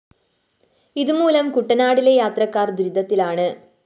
ഇതുമൂലം കുട്ടനാട്ടിലെ യാത്രക്കാര്‍ ദുരിതത്തിലാണ്